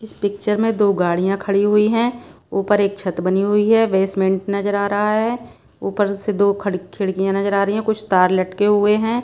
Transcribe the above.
इस पिक्चर में दो गाढ़ियां खड़ी हुई हैं ऊपर एक छत बनी हुई है बेसमेंट नजर आ रहा है ऊपर से दो खड़ खिड़कियां नजर आ रही हैं कुछ तार लटके हुए हैं।